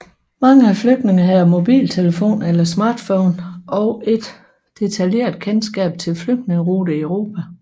Mange af flygtningene havde mobiltelefoner eller smartphones og et detaljeret kendskab til flygtningeruter i Europa